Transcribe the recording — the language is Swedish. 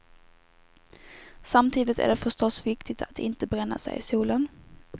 Samtidigt är det förstås viktigt att inte bränna sig i solen.